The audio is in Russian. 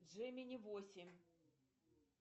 джемини восемь